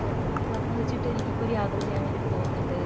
നീ പറഞ്ഞത് വച്ചിട്ട് എനിക്കിപ്പോ ഒരു യാത്ര ചെയ്യാൻ വേണ്ടിട്ട് തോന്നുണ്ട്